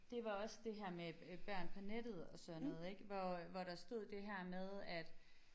Det var også det her med øh børn på nettet og sådan noget ik hvor øh hvor der stod det her med at